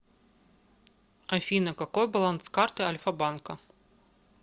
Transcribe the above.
афина какой баланс карты альфа банка